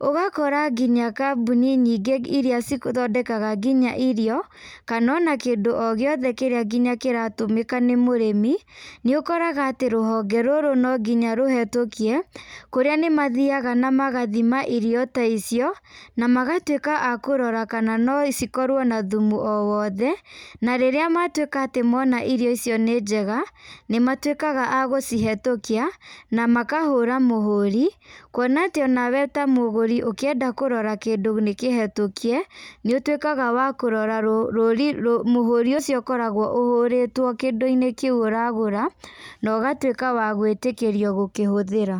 ũgakora nginya kambũni nyingĩ iria ithondekaga nginya irio, kana ona kĩndũ ogĩothe nginya kírĩa kĩratũmĩka nĩ mũrĩmi, nĩũkoraga atĩ rũhonge rũrũ nonginya rũhĩtũkie kũrĩa nimathiaga na magathima irio ta icio na magatuĩka akũrora kana nocikorwe na thumu owothe na rĩrĩa matuĩka kũona atĩ irio icio nĩ njega, nĩmatuĩkaga ma gũcihĩtũkia na makahũra mũhũri, kwona atĩ onawe mũgũri ũngĩenda kũrora kĩndũ nĩkĩhĩtũkie, nĩtuĩkagaa wa kũrora rũri ,mũhũri ũcio ũkoragwo ũhũrĩtwe kĩndũinĩ kĩũ ũragũra na ũgatuĩka wa gwĩtĩkĩrio gũkĩhuthĩra.